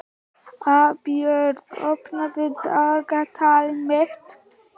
Albjört, opnaðu dagatalið mitt.